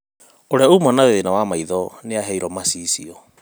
ũrĩa uma na thĩna wa maitho nĩaheiro macicio